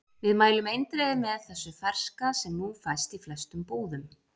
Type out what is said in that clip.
Við mælum eindregið með þessu ferska sem nú fæst í flestum búðum.